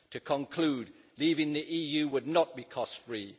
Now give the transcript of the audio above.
To conclude, leaving the EU would not be cost free.